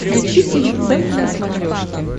включи тиви центр на смотрешке